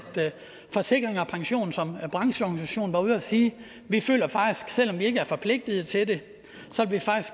forsikring pension som brancheorganisation var ude at sige vi føler faktisk selv om vi ikke er forpligtede til det